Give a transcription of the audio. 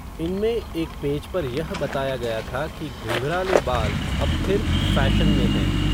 इनमें, एक पेज पर यह बताया गया था, कि घुंघराले बाल, अब फिर फ़ैशन में हैं